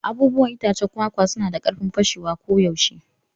Abubuwan itacen kwakwa suna da karfin fashewa koyaushe.